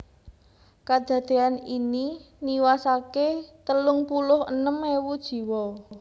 Kadadéyan ini niwasaké telung puluh enem ewu jiwa